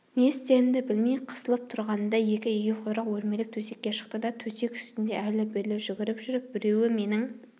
не істерімді білмей қысылып тұрғанымда екі егеуқұйрық өрмелеп төсекке шықты да төсек үстінде әрлі-берлі жүгіріп жүріп біреуі менің